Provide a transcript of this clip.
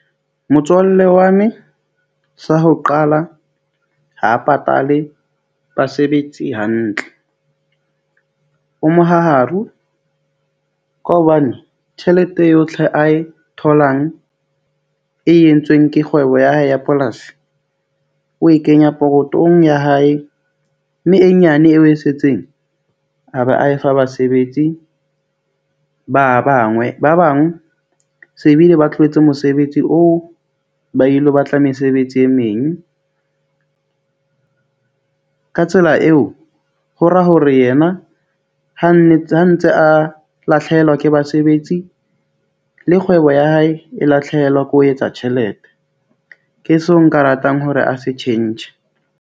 Motswalle wa me sa ho qala ha patale basebetsi hantle. O mohaharu ka hobane tjhelete eo yotlhe a e tholang e entsweng ke kgwebo ya hae ya polasi. O e kenya pokothong ya hae mme e nyane eo e setseng. A be a e fa basebetsi ba bangwe. Ba bang we se bile ba tlohetse mosebetsi o ba ilo batla mesebetsi e meng. Ka tsela eo, hora hore yena ha ntse a ntse a lathlehelwa ke basebetsi le kgwebo ya hae e lahlehelwa ke ho etsa tjhelete. Ke seo nka ratang hore a se tjhentjhe.